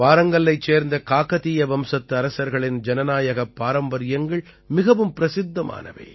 வாரங்கல்லைச் சேர்ந்த காகதீய வம்சத்து அரசர்களின் ஜனநாயகப் பாரம்பரியங்கள் மிகவும் பிரசித்தமானவை